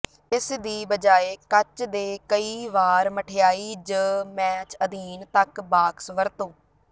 ਇਸ ਦੀ ਬਜਾਇ ਕੱਚ ਦੇ ਕਈ ਵਾਰ ਮਠਿਆਈ ਜ ਮੈਚ ਅਧੀਨ ਤੱਕ ਬਾਕਸ ਵਰਤੋ